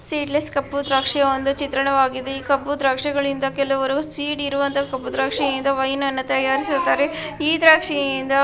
Seedless ಕಪ್ಪು ದ್ರಾಕ್ಷಿಯ ಚಿತ್ರಣವಾಗಿದೆ ಕಪ್ಪು ದ್ರಾಕ್ಷಿಯಿಂದ ಕೆಲವರು ಕಪ್ಪು ದ್ರಾಕ್ಷಿ ಇದರಿಂದ ವಹಿನ ತಯಾರಿಸುತ್ತಾರೆ. ಈ ದ್ರಾಕ್ಷಿಯಿಂದ--